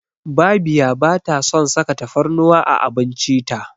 Babiya ba ta son saka tafarnuwa a abinci ta.